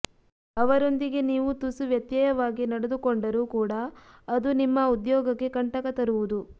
ಅವರೊಂದಿಗೆ ನೀವು ತುಸು ವ್ಯತ್ಯಯವಾಗಿ ನಡೆದುಕೊಂಡರೂ ಕೂಡಾ ಅದು ನಿಮ್ಮ ಉದ್ಯೋಗಕ್ಕೆ ಕಂಟಕ ತರುವುದು